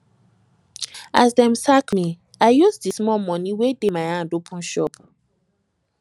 as dem sack me i use di small moni wey dey my hand open shop